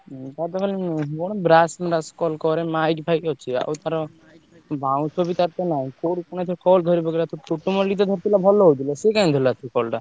Mike ଫାଇକ ଅଛି ତାର ବାଉଁଶ ବି ତାର ତ ନାହିଁ,